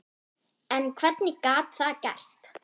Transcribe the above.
En hvernig gat það gerst?